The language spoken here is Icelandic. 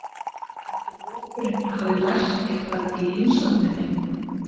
En ætli hópurinn hafi lært eitthvað í heimsókninni?